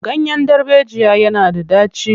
Ganyen darbejiya yana da ɗaci.